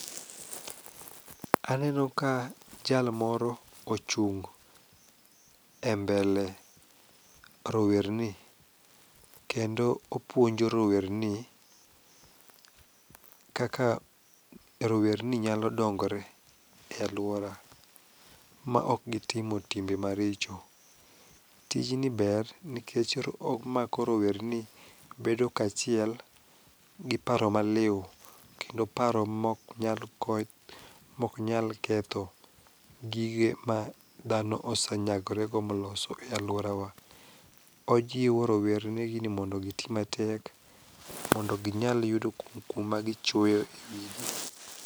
Aneno ka jal moro ochung' e mbele rowerni kendo opuonjo rowerni kaka rowerni nyalo dongore e alwora maok gitimo timbe maricho. Tijni ber nikech omako rowerni bedo kachiel gi paro maliw kendo paro moknyal ketho gige ma dhano osenyagorego moloso e alworawa. Ojiwo rowernigi ni mondo giti matek mondo ginyal yudo kuma gichwoyo e wigi.